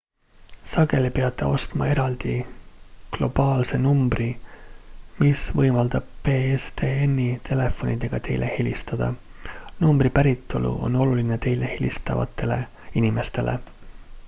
sageli peate ostma eraldi globaalse numbri mis võimaldab pstn-i telefonidega teile helistada numbri päritolu on oluline teile helistavatele inimestele